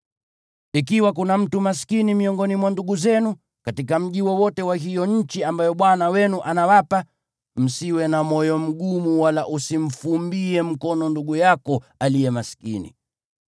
Ikiwa kuna mtu maskini miongoni mwa ndugu zenu, katika mji wowote wa hiyo nchi ambayo Bwana Mungu wenu anawapa, msiwe na moyo mgumu wala usimfumbie mkono ndugu yako aliye maskini.